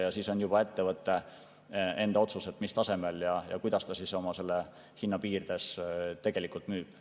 Ja siis on juba ettevõtte enda otsus, mis tasemel ja kuidas ta selle hinna piirides tegelikult müüb.